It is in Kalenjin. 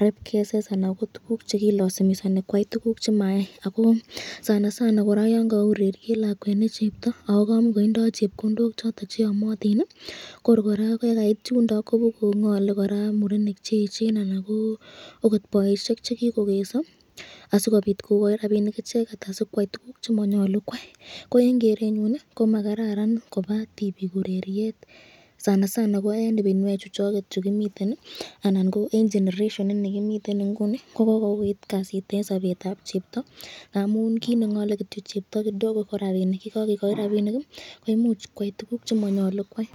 rape cases ,anan ko tukuk chekilasimisani kwai tukuk, sanasana koraa yon kawe ureriet lakwet ne chrpto ako kamakoindo chepkondok choton cheamatin, kor koraa ye kait yundo ko bukongole koraa murenik cheechen anan ko ako boisyek chekikokeso asikobit kokai rapinik acheket asikwai tukuk chemanyolu kwai ,ko eng kerenyun ii komakararan kobaa tibik ureriet , sanasana ko eng ibinwek chuchoket chukimiten anan ko eng generation in kimiten inguni ko kokoit kasit eng sametab cheptoo ,ngamun kit nengole chepto kidogo ko rapinik, ye kskikochi rapinik koimuch koyai tukuk chemanyolu kwai .